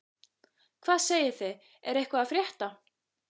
Hvað segið þið, er eitthvað að frétta?